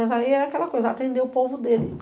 Mas aí é aquela coisa de atender o povo dele.